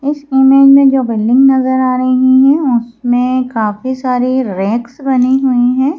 इस इमेज में जो बिल्डिंग नजर आ रही हैं उसमें काफी सारी रेक्स बने हुए हैं।